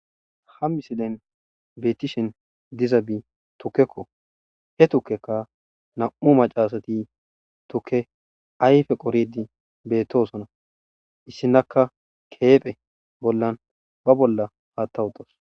Hammi silen beetishen diza bi tukkekko he tukkekka nam'u macaasati tukke ayfe qoridi beettosona issinaka keephe bollan ba bolla haattawutas.